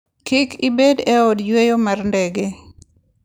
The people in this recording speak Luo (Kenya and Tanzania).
Kik ibed e od yueyo mar ndege.